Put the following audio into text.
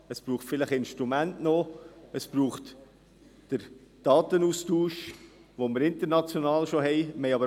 Es braucht vielleicht entsprechende Instrumente, es braucht den Datenaustausch, den wir international bereits haben.